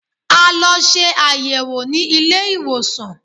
A lọ ṣe àyẹ̀wò ní ilé-ìwòsàn